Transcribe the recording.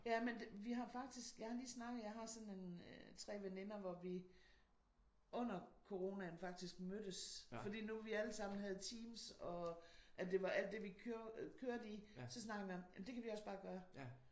Jamen vi har faktisk jeg har lige snakket med jeg har sådan en 3 veninder hvor vi under coronaen faktisk mødtes fordi nu vi alle sammen havde Teams og at det var alt det vi kørte i. Så snakkede vi om det kan vi også bare gøre